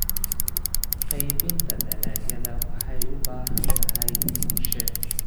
Qaybinta dalagyada waxay u baahan tahay qorshe.